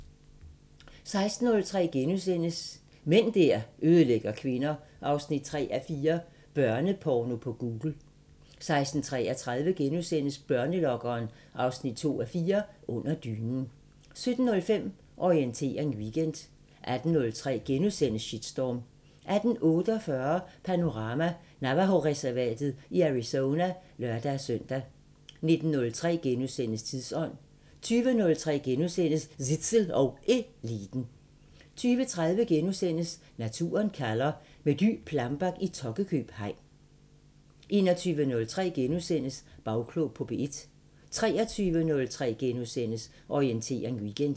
16:03: Mænd der ødelægger kvinder 3:4 – Børneporno på Google * 16:33: Børnelokkeren 2:4 – Under dynen * 17:05: Orientering Weekend 18:03: Shitstorm * 18:48: Panorama: Navajo-reservatet i Arizona (lør-søn) 19:03: Tidsånd * 20:03: Zissel og Eliten * 20:30: Naturen kalder – med Dy Plambeck i Tokkekøb hegn * 21:03: Bagklog på P1 * 23:03: Orientering Weekend *